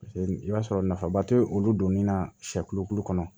i b'a sɔrɔ nafaba tɛ olu donni na siyɛ kolokolo kɔnɔ